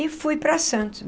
E fui para Santos.